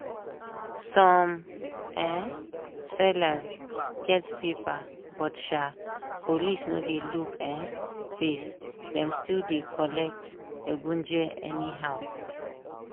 some um sellers get paper but um police no dey look um face dem still dey collect egunje anyhow.